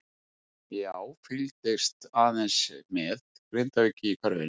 Já fylgist aðeins með Grindavík í körfunni.